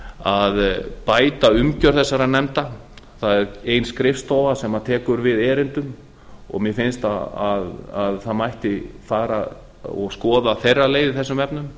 að bæta umgjörð þessara nefnda það er ein skrifstofa sem tekur við erindum mér finnst að það mætti fara og skoða þeirra leið í þessum efnum